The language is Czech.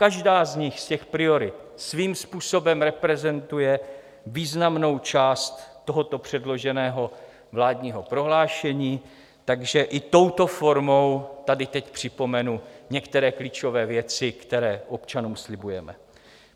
Každá z nich, z těch priorit, svým způsobem reprezentuje významnou část tohoto předloženého vládního prohlášení, takže i touto formou tady teď připomenu některé klíčové věci, které občanům slibujeme.